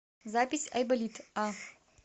запись айболит а